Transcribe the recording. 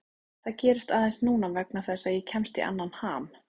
Það gerist aðeins núna vegna þess að ég kemst í annan ham.